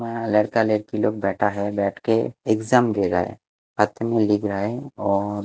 वहां लड़का लड़की लोग बैठा है बैठके एग्जाम दे रहा हैं लिख रहा है और--